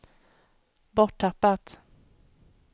borttappat